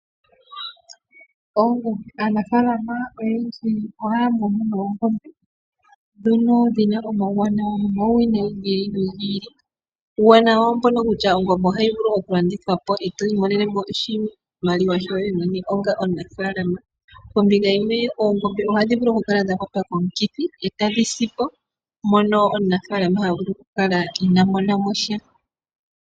Aanafalama oyendji ohaya munu noongombe dhono dhi na omauwanawa nomauwinayi ogendji .Uuwanawa owo mbuka kutya ongombe ohayi vulu okulandithwa po e to imonene shoye mwene onga omunafaalama . Ombinga yimwe oongombe ohadhi vulu okukala dha kwatwa komikithi e tadhi si po mono omunafaalama ha vulu okukala ina mona mo sha.